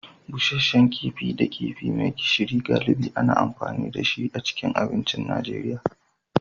Busasshen kifi da kifi mai gishiri, galibi ana amfani da shi a cikin abincin Najeriya.